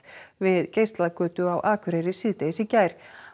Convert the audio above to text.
við Geislagötu á Akureyri síðdegis í gær